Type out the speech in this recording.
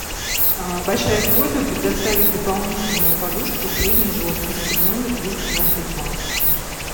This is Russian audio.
большая просьба предоставить дополнительную подушку средней жесткости в номер двести двадцать два